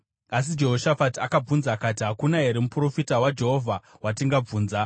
Asi Jehoshafati akabvunza akati, “Hakuna here muprofita waJehovha watingabvunza?”